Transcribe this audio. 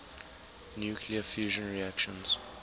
nuclear fusion reactions